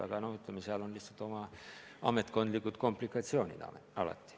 Aga ütleme, et seal on lihtsalt alati oma ametkondlikud komplikatsioonid.